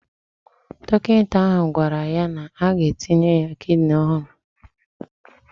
Dọkịta ahụ gwara ya na-aga etinye ya kidini ọhụrụ